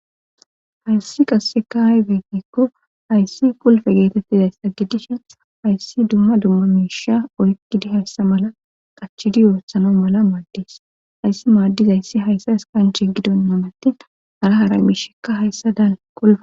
Hayssi qasseka hay beefikko hayssi kulfe geetettizayssa gidishen hayssi dumma dumma miisha oykkidi hayssa mala qachidi yoossano mala maaddis hayssi maaddiz ayssi hayssa eskanche gidon namati hara hara miishekka hayssa dal qulafa.